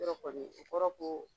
Yɔrɔ kɔni, o kɔrɔ ko